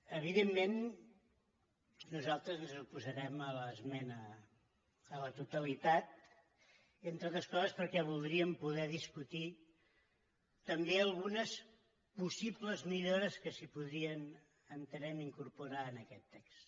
evidentment nosaltres ens oposarem a l’esmena a la totalitat entre altres coses perquè voldríem poder discutir també algunes possibles millores que es podrien ho entenem incorporar en aquest text